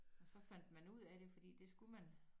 Og så fandt man ud af det fordi det skulle man